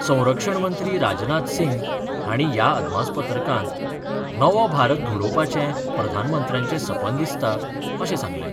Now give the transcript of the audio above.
संरक्षण मंत्री राजनाथ सिंह हांणी ह्या अदमासपत्रकांत नवो भारत घडोवपाचे प्रधानमंत्र्याचे सपन दिसता अशें सांगलें.